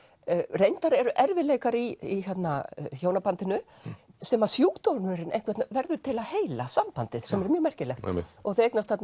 reyndar eru erfiðleikar í hjónabandinu sem að sjúkdómurinn verður til að heila sambandið sem er mjög merkilegt þau eignast þarna